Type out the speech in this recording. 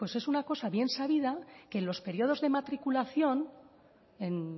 bueno pues es una cosa bien sabida que en los periodos de matriculación en